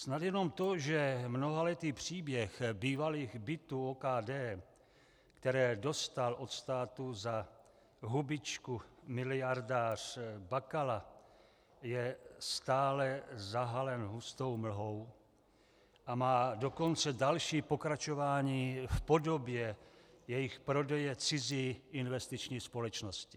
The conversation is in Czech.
Snad jenom to, že mnohaletý příběh bývalých bytů OKD, které dostal od státu za hubičku miliardář Bakala, je stále zahalen hustou mlhou, a má dokonce další pokračování v podobě jejich prodeje cizí investiční společnosti.